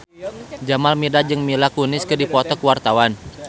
Jamal Mirdad jeung Mila Kunis keur dipoto ku wartawan